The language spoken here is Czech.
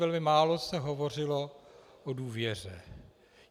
Velmi málo se hovořilo o důvěře.